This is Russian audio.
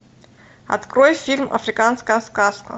открой фильм африканская сказка